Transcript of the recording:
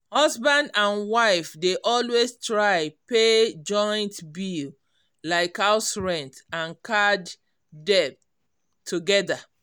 husband and wife dey always try pay joint bill like house rent and card debt togedr